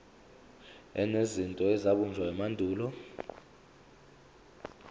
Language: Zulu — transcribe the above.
enezinto ezabunjwa emandulo